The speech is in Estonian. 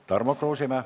Tarmo Kruusimäe.